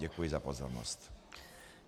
Děkuji za pozornost.